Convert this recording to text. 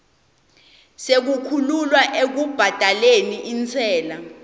sekukhululwa ekubhadaleni intsela